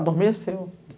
Adormeceu.